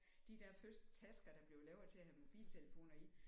De der første tasker der blev lavet til at have mobiltelefoner i